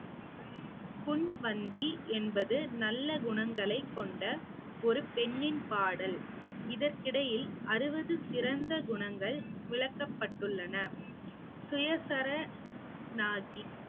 பொன்வந்தி என்பது நல்ல குணங்களை கொண்ட ஒரு பெண்ணின் பாடல் இதற்கிடையில் அறுபது சிறந்த குணங்கள் விளக்கப்பட்டுள்ளன